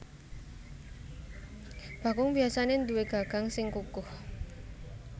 Bakung biasané duwé gagang sing kukoh